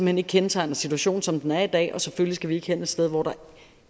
hen ikke kendetegner situationen som den er i dag selvfølgelig skal vi ikke hen et sted hvor der